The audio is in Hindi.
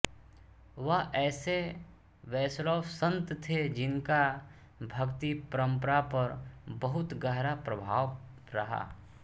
वह ऐसे वैष्णव सन्त थे जिनका भक्ति परम्परा पर बहुत गहरा प्रभाव रहा